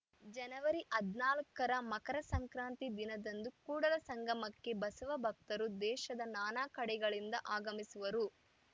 ಜನವರಿ ಹದಿನಾಲ್ಕ ರ ಮಕರ ಸಂಕ್ರಾತಿ ದಿನದಂದು ಕೂಡಲ ಸಂಗಮಕ್ಕೆ ಬಸವ ಭಕ್ತರು ದೇಶದ ನಾನಾ ಕಡೆಗಳಿಂದ ಆಗಮಿಸುವರು